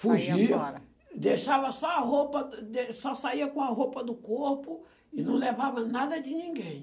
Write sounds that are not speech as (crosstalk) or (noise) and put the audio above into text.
Fugia, (unintelligible) deixava só a roupa, (unintelligible) dê só saía com a roupa do corpo e não levava nada de ninguém.